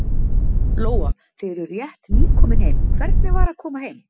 Lóa: Þið eruð rétt nýkomin heim, hvernig var að koma heim?